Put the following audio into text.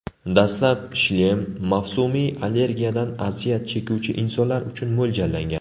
Dastlab shlem mavsumiy allergiyadan aziyat chekuvchi insonlar uchun mo‘ljallangan.